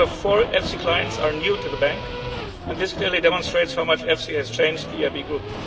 key. Three out of four EFSI clients are new to the bank and this clearly demonstrates how much the EFSI has changed the EIB Group.